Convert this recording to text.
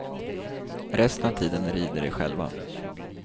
Resten av tiden rider de själva.